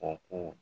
O ko